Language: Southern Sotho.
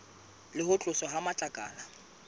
le ho tloswa ha matlakala